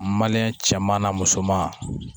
cɛman n'a musoman